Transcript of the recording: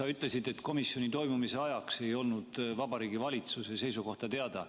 Sa ütlesid, et komisjoni toimumise ajaks ei olnud Vabariigi Valitsuse seisukohta teada.